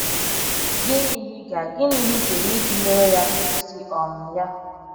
Gịnị ihe ịga Gịnị ihe ịga eme iji nyere ya aka ịkwụsị um ya?